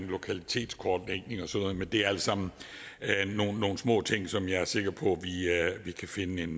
lokalitetskortlægning og sådan noget men det er alt sammen nogle små ting som jeg er sikker på vi kan finde en